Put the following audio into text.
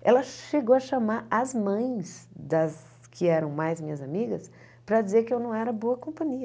ela chegou a chamar as mães das que eram mais minhas amigas para dizer que eu não era boa companhia.